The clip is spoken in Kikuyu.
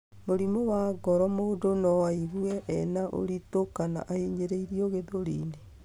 Mũrimũ wa ngoro mũndũ no aigue ena ũritũ kana ahinyĩrĩirio gĩthũriĩnĩ.